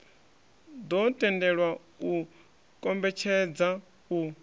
ḓo tendelwa u kombetshedza u